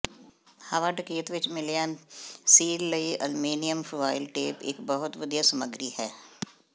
ਹਵਾ ਡਕੈਤ ਵਿਚ ਮਿਲਿਆ ਸੀਲ ਲਈ ਅਲਮੀਨੀਅਮ ਫੁਆਇਲ ਟੇਪ ਇੱਕ ਬਹੁਤ ਵਧੀਆ ਸਮੱਗਰੀ ਹੈ